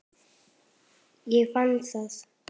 Ég fann það.